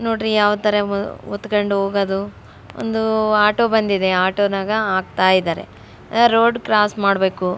ನೋಡ್ರಿ ಯಾವತರ ಹೊತ್ಕೊಂಡು ಹೋಗೋದು ಒಂದು ಆಟೋ ಬಂದಿದೆ ಆಟೋ ನಗ ಆಗ್ತಾ ಇದ್ದಾರೆ ರೋಡ್ ಕ್ರಾಸ್ ಮಾಡ್ಬೇಕು --